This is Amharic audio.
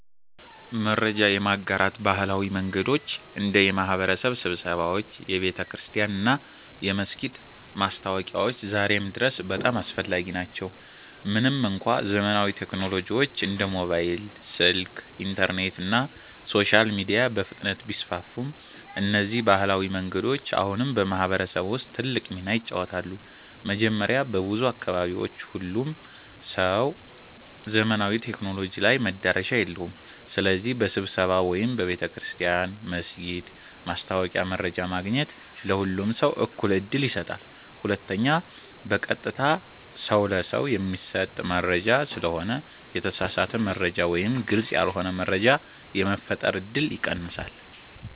መረጃ የማጋራት ባህላዊ መንገዶች እንደ የማህበረሰብ ስብሰባዎች፣ የቤተክርስቲያን እና የመስጊድ ማስታወቂያዎች ዛሬም ድረስ በጣም አስፈላጊ ናቸው። ምንም እንኳ ዘመናዊ ቴክኖሎጂዎች እንደ ሞባይል ስልክ፣ ኢንተርኔት እና ሶሻል ሚዲያ በፍጥነት ቢስፋፉም፣ እነዚህ ባህላዊ መንገዶች አሁንም በማህበረሰብ ውስጥ ትልቅ ሚና ይጫወታሉ። መጀመሪያ፣ በብዙ አካባቢዎች ሁሉም ሰው ዘመናዊ ቴክኖሎጂ ላይ መዳረሻ የለውም። ስለዚህ በስብሰባ ወይም በቤተ ክርስቲያን/መስጊድ ማስታወቂያ መረጃ ማግኘት ለሁሉም ሰው እኩል ዕድል ይሰጣል። ሁለተኛ፣ በቀጥታ ሰው ለሰው የሚሰጥ መረጃ ስለሆነ የተሳሳተ መረጃ ወይም ግልጽ ያልሆነ መረጃ የመፈጠር እድል ይቀንሳል።